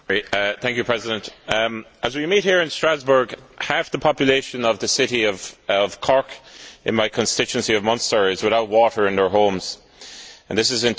Mr President, as we meet here in Strasbourg, half the population of the city of Cork, in my constituency of Munster, is without water in their homes and this is